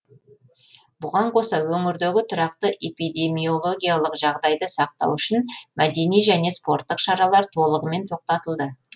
бұған қоса өңірдегі тұрақты эпидемиологиялық жағдайды сақтау үшін мәдени және спорттық шаралар толығымен тоқтатылды